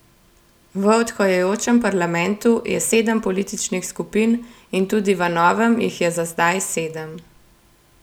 V odhajajočem parlamentu je sedem političnih skupin in tudi v novem jih je za zdaj sedem.